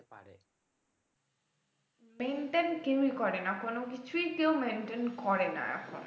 Maintain কেউই করেনা কোন কিছুই কেউ maintain করেনা এখন আর